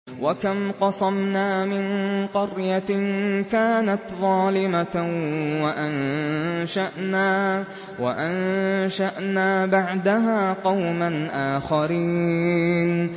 وَكَمْ قَصَمْنَا مِن قَرْيَةٍ كَانَتْ ظَالِمَةً وَأَنشَأْنَا بَعْدَهَا قَوْمًا آخَرِينَ